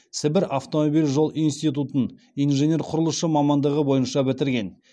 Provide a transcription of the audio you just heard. сібір автомобиль жол институтын инженер құрылысшы мамандығы бойынша бітірген